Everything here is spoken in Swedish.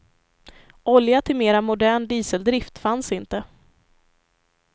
Olja till mera modern dieseldrift fanns inte.